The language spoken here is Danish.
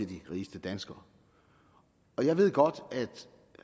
de rigeste danskere jeg ved godt